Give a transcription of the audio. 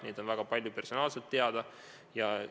Neid on personaalselt teada juba väga palju.